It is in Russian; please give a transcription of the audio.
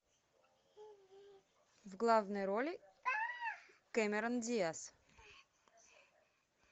в главной роли кэмерон диаз